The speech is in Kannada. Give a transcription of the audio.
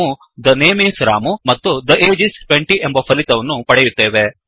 ನಾವು ಥೆ ನೇಮ್ ಇಸ್ ರಾಮು ಮತ್ತು ಥೆ ಅಗೆ ಇಸ್ 20 ಎಂಬ ಫಲಿತವನ್ನು ಪಡೆಯುತ್ತೇವೆ